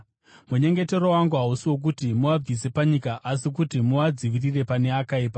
Munyengetero wangu hausi wokuti muvabvise panyika asi kuti muvadzivirire pane akaipa.